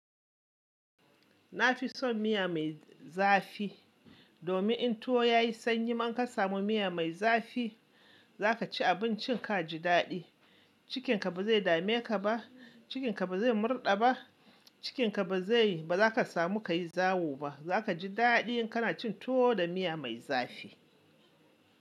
Na fi son miya mai zafi. Domin in to ya yi sanyi man ka samu miya mai zafi za ka ci abincin ka ji daɗi. Cikin ka ba zai dame ka ba, cikin ka ba zai murɗa ba, cikin ka ba zai, ba za ka samu ka yi zawo ba. Za ka ji daɗi in kana cin to da miya mai zafi.